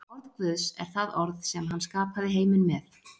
Orð Guðs er það orð sem hann skapaði heiminn með.